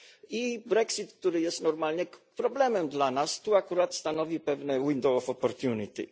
I brexit, który jest normalnie problemem dla nas, tu akurat stanowi pewne window of opportunity